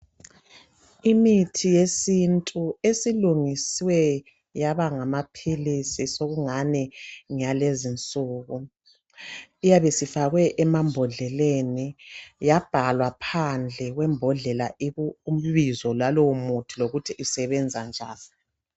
Imithi yesintu esilungiswe yaba ngamaphilisi sokungani ngeya lezi insuku iyabe isifakwe emambodleleni yabhalwa phandle kwembodlela ibizo lalowo muthi lokuthi isebenza njani.